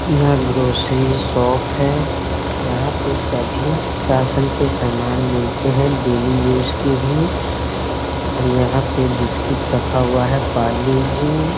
यह grocery shop है यहाँ पे सभी राशन के सामान मिलते है डेली यूज़ के भी और यहाँ पे बिस्कुट रखा हुआ है परले-जी ।